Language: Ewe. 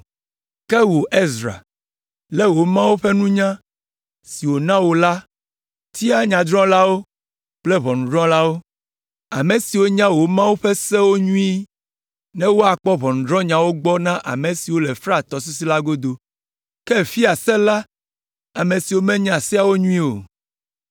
Ke wò, Ezra, le wò Mawu ƒe nunya si wòna wò nu la, tia nyadrɔ̃lawo kple ʋɔnudrɔ̃lawo, ame siwo nya wò Mawu la ƒe Sewo nyuie, ne woakpɔ ʋɔnudrɔ̃nyawo gbɔ na ame siwo le Frat tɔsisi la godo. Ke fia se la ame siwo menya Seawo nyuie o.